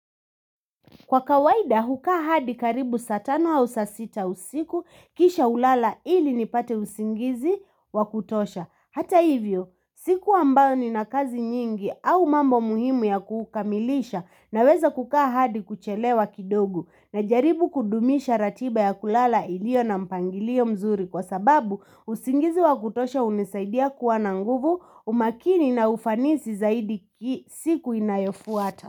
Kwa kawaida hukaa hadi karibu sa tano au sa sita usiku kisha hulala ili nipate usingizi wakutosha. Hata hivyo siku ambayo nina kazi nyingi au mambo muhimu ya kukamilisha naweza kukaa hadi kuchelewa kidogo najaribu kudumisha ratiba ya kulala ilio na mpangilio mzuri kwa sababu usingizi wakutosha hunisaidia kua na nguvu umakini na ufanisi zaidi siku inayofwata.